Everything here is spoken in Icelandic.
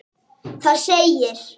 Það segir: